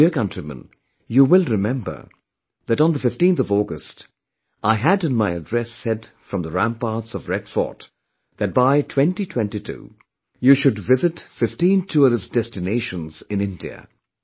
My dear countrymen, you will remember, that on 15 August, I had in my address said from the ramparts of Red Fort that by 2022, you should visit 15 tourist destinations in India